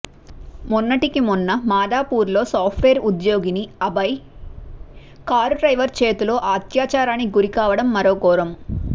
మొన్నటికి మొన్న మాధాపూర్లో సాఫ్ట్ వేర్ ఉద్యోగిని అభయ కారుడ్రైవరు చేతిలో అత్యాచారానికి గురికావడం మరో ఘోరం